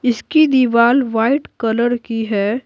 इसकी दीवार white colour की है।